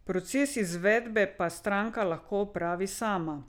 Proces izvedbe pa stranka lahko opravi sama.